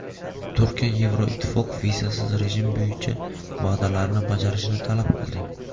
Turkiya Yevroittifoq vizasiz rejim bo‘yicha va’dalarini bajarishini talab qildi.